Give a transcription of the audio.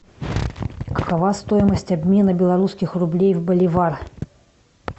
какова стоимость обмена белорусских рублей в боливар